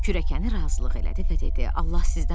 Kürəkəni razılıq elədi və dedi: